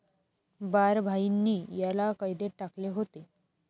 बारभाईंनी याला कैदेत टाकले होते.